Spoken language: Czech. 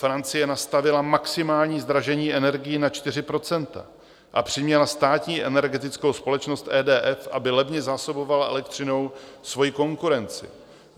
Francie nastavila maximální zdražení energií na 4 % a přiměla státní energetickou společnost EDF, aby levně zásobovala elektřinou svoji konkurenci.